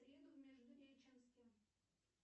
в среду в междуреченске